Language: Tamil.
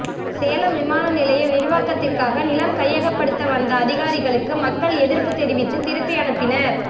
சேலம் விமான நிலைய விரிவாக்கத்திற்காக நிலம் கையகப்படுத்த வந்த அதிகாரிகளுக்கு மக்கள் எதிர்ப்பு தெரிவித்து திருப்பி அனுப்பினர்